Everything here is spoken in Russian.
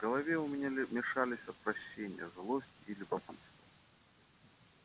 в голове у меня мешались отвращение злость и любопытство